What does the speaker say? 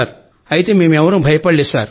అయితే మేమెవరమూ భయపడలేదు